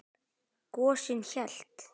Gosinn hélt.